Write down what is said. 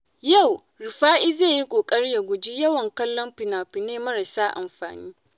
Yau, Rufa’i zai yi ƙoƙari ya guji yawan kallon fina-finai marasa amfani.